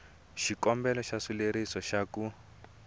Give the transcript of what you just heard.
xikombelo xa xileriso xa ku